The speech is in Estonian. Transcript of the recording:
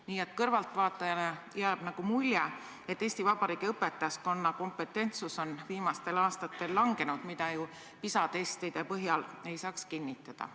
Nii et kõrvaltvaatajale jääb nagu mulje, et Eesti Vabariigi õpetajaskonna kompetentsus on viimastel aastatel langenud, mida ju PISA testide põhjal ei saaks kinnitada.